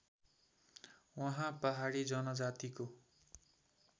उहाँ पहाडी जनजातिको